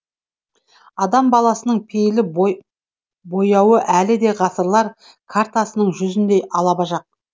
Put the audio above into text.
адам баласының пейіл бояуы әлі де ғасырлар картасының жүзіндей алабажақ